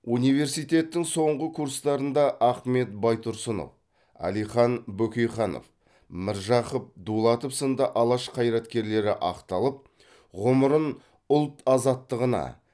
университеттің соңғы курстарында ахмет байтұрсынов әлихан бөкейханов міржақып дулатов сынды алаш қайраткерлері ақталып ғұмырын ұлт азаттығына